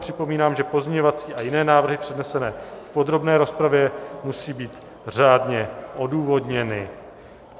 Připomínám, že pozměňovací a jiné návrhy přednesené v podrobné rozpravě musí být řádně odůvodněny.